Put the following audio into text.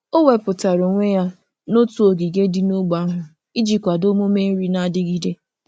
O wepụtara onwe ya n'otu ogige dị n'ógbè ahụ iji kwado omume nri na-adigide.